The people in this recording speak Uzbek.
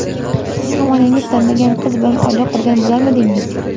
Siz ham onangiz tanlagan qiz bilan oila qurgan bo‘larmidingiz?